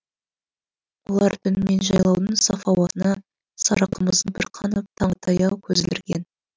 олар түнімен жайлаудың саф ауасына сары қымызына бір қанып таңға таяу көз ілдірген